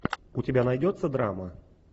у тебя найдется драма